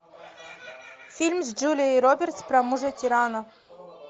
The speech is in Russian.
фильм с джулией робертс про мужа тирана